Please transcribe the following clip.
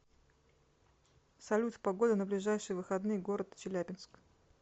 салют погода на ближайшие выходные город челябинск